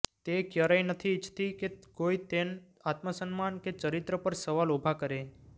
તે ક્યરેય નથી ઇચ્છતી કે કોઇ તેન આત્મસન્માન કે ચરિત્ર પર સવાલ ઉભા કરે